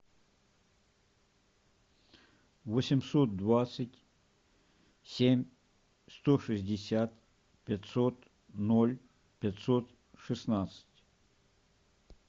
восемьсот двадцать семь сто шестьдесят пятьсот ноль пятьсот шестнадцать